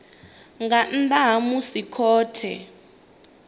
nga nnḓa ha musi khothe